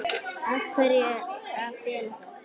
Af hverju að fela það?